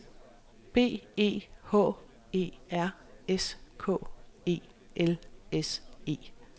B E H E R S K E L S E